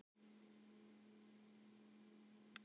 Ég hékk hálf út um gluggann, æpandi og argandi á allt og alla.